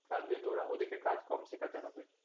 কারণ যেহেতু ওরা ওদিকে কাজ কম শেখাতে হবে